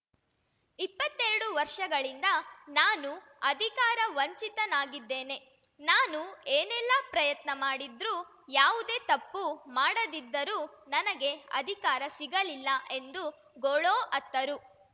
ಇಪ್ಪತ್ತೆರಡು ವರ್ಷಗಳಿಂದ ನಾನು ಅಧಿಕಾರ ವಂಚಿತನಾಗಿದ್ದೇನೆ ನಾನು ಏನೆಲ್ಲಾ ಪ್ರಯತ್ನ ಮಾಡಿದ್ರೂ ಯಾವುದೇ ತಪ್ಪು ಮಾಡದಿದ್ದರೂ ನನಗೆ ಅಧಿಕಾರ ಸಿಗಲಿಲ್ಲ ಎಂದು ಗೋಳೋ ಅತ್ತರು